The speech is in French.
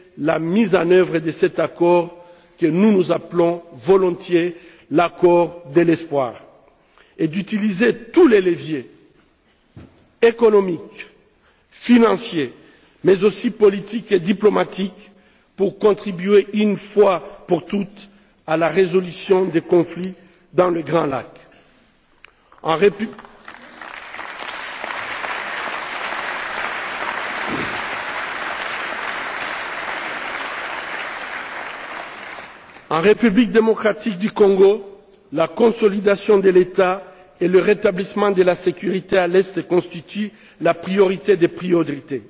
la mise en œuvre de cet accord, que nous appelons volontiers l'accord de l'espoir, et à utiliser tous les leviers, économiques, financiers, mais aussi politiques et diplomatiques, pour contribuer une fois pour toutes à la résolution des conflits dans les Grands Lacs. En République démocratique du Congo, la consolidation de l'État et le rétablissement de la sécurité dans l'est constituent la priorité des priorités.